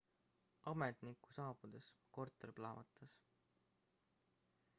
ametniku saabudes korter plahvatas